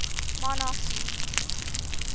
monarchy